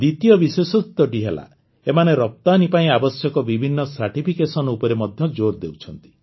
ଦ୍ୱିତୀୟ ବିଶେଷତ୍ୱଟି ହେଲା ଏମାନେ ରପ୍ତାନୀ ପାଇଁ ଆବଶ୍ୟକ ବିଭିନ୍ନ ସାର୍ଟିଫିକେସନ ଉପରେ ମଧ୍ୟ ଜୋର୍ ଦେଉଛନ୍ତି